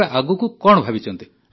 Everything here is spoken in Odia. ତେବେ ଆଗକୁ କଣ ଭାବିଛନ୍ତି